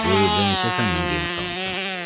Buyur, neçə fəndən qiymət almısan?